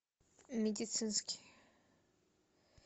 медицинский